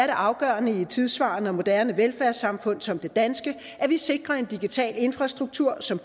afgørende i et tidssvarende og moderne velfærdssamfund som det danske at vi sikrer en digital infrastruktur som